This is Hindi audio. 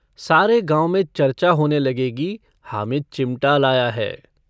सारे गाँव में चरचा होने लगेगी हामिद चिमटा लाया है।